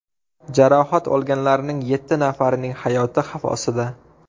Jarohat olganlarning yetti nafarining hayoti xavf ostida.